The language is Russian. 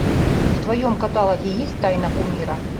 в твоем каталоге есть тайна кумира